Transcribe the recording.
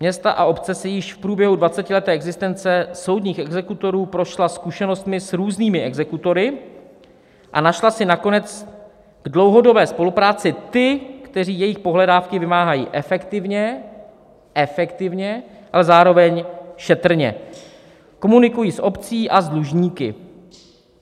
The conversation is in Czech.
Města a obce si již v průběhu 20leté existence soudních exekutorů prošla zkušenostmi s různými exekutory a našla si nakonec k dlouhodobé spolupráci ty, kteří jejich pohledávky vymáhají efektivně" - efektivně - "a zároveň šetrně, komunikují s obcí a s dlužníky."